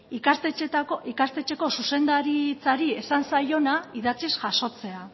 ikastetxeko zuzendaritzari esan zaiona idatziz jasotzea